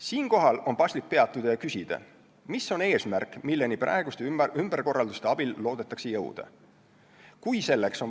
Siinkohal on paslik peatuda ja küsida, mis on eesmärk, milleni praeguste ümberkorralduste abil loodetakse jõuda.